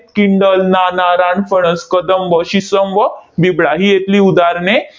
Kindle, नाना, रानफणस, कदंब, शिसम व बिबळा ही इथली उदाहरणे